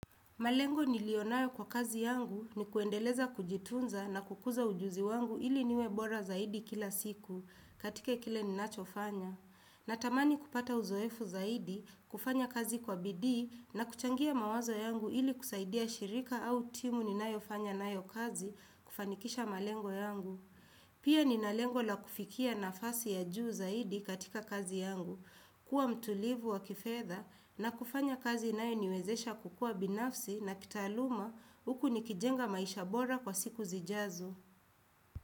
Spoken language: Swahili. Malengo nilio nayo kwa kazi yangu ni kuendeleza kujitunza na kukuza ujuzi wangu ili niwe bora zaidi kila siku katika kile ninacho fanya. Natamani kupata uzoefu zaidi kufanya kazi kwa bidii na kuchangia mawazo yangu ili kusaidia shirika au timu ninayofanya nayo kazi kufanikisha malengo yangu. Pia nina lengo la kufikia nafasi ya juu zaidi katika kazi yangu, kuwa mtulivu wa kifedha na kufanya kazi inayo niwezesha kukua binafsi na kitaaluma huku nikijenga maisha bora kwa siku zijazo.